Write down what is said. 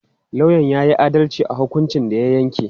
Lauyan ya yi adalci a hukuncin da ya yanke.